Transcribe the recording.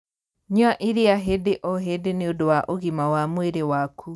Nyua iria hĩndĩ o hĩndĩ nĩũndu wa ũgima wa mwĩrĩ waku